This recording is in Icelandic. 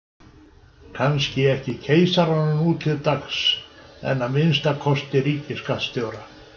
Kannski ekki keisaranum nú til dags en að minnsta kosti ríkisskattstjóra.